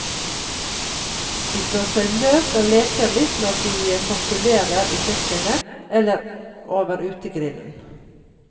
De slår seg løs og leker litt når de kokkelerer i kjøkkenet, eller over utegrillen.